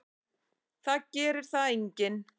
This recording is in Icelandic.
Það gerir það enginn.